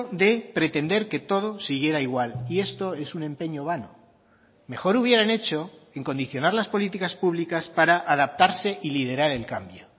de pretender que todo siguiera igual y esto es un empeño vano mejor hubieran hecho en condicionar las políticas públicas para adaptarse y liderar el cambio